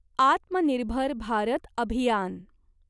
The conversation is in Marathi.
आत्मनिर्भर भारत अभियान